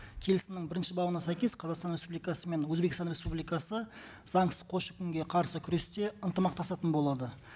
келісімнің бірінші бабына сәйкес қазақстан республикасы мен өзбекстан республикасы заңсыз көші қонға қарсы күресте ынтымақтасатын болады